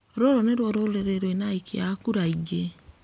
Rũrũ nĩruo rũrĩrĩ rwĩna aikia a kura aingĩ